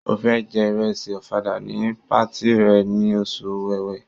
Ó́ fẹ́ jẹ ìrẹsì ọ̀fadà ní patí rẹ̀ ní oṣù Ọ̀wẹwẹ̀.